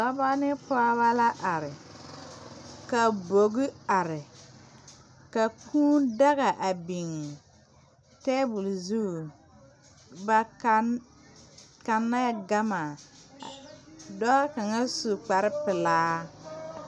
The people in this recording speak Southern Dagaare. Dɔbɔ ne pɔɔbɔ la are ka bogi are ka kūū daga a biŋ tabole zu ba kanɛɛ gama dɔɔ kaŋa su kparepelaa.